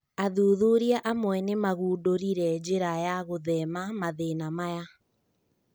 Athuthuria amwe nĩmagundũrire njĩra wa gũthema mathĩna maya.